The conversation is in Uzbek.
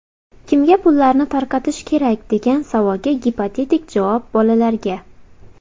Kimga pullarni tarqatish kerak, degan savolga gipotetik javob bolalarga.